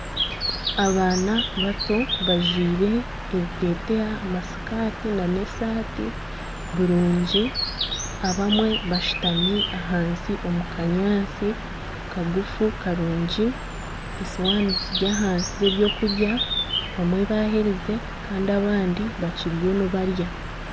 Abaana bato bajwire ebiteteya , amasikati n'esati birungi. Abamwe bashutami ahansi omu kanyaantsi kagufu karungi esuwani ziri ahansi z'ebyokurya abamwe baherize Kandi abandi bakiriyo nibarya.